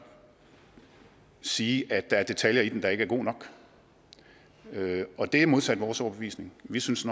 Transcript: sige at der er detaljer i den der ikke er gode nok og det er modsat vores overbevisning vi synes